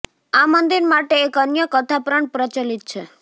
આ મંદિર માટે એક અન્ય કથા પણ પ્રચલિત છે